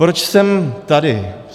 Proč jsem tady?